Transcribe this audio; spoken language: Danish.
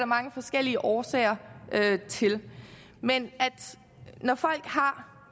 mange forskellige årsager til men når folk har